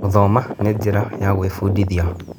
Gũthoma nĩ njĩra ya gwĩbundithia.